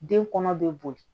Den kɔnɔ be boli